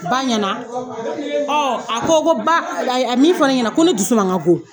Ba ɲɛna a ko ko ba ko a ye min fɔ ne ɲɛna ko ne dusu man ka go